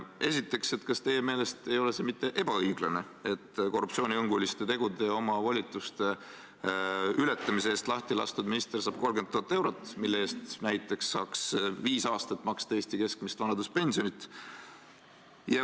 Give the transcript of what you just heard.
Esiteks, kas teie meelest ei ole see ebaõiglane, et korruptsioonihõnguliste tegude ja oma volituste ületamise eest lahti lastud minister saab 30 000 eurot, mille eest saaks näiteks viis aastat maksta Eesti keskmist vanaduspensioni?